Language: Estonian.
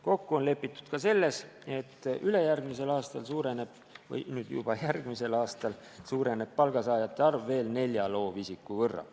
Kokku on lepitud ka selles, et ülejärgmisel aastal, õigemini nüüd juba järgmisel aastal suureneb palgasaajate arv veel nelja loovisiku võrra.